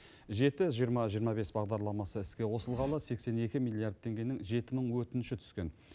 жеті жиырма жиырма бес бағдарламасы іске қосылғалы сексен екі миллиард теңгенің жеті мың өтініші түскен